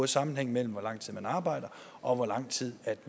sammenhæng mellem hvor lang tid man arbejder og hvor lang tid